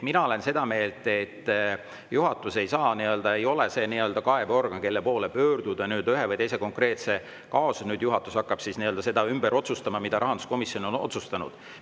Mina olen seda meelt, et juhatus ei ole kaebeorgan, kelle poole pöörduda ühe või teise konkreetse kaasusega, näiteks et juhatus hakkaks ümber otsustama, mida rahanduskomisjon on otsustanud.